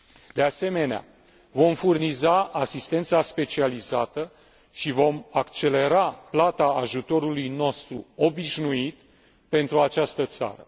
De asemenea, vom furniza asistența specializată și vom accelera plata ajutorului nostru obișnuit pentru această țară.